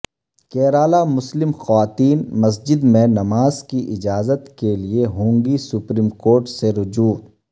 کیرالہ مسلم خواتین مسجد میں نماز کی اجازت کے لیے ہونگی سپریم کورٹ سے رجوع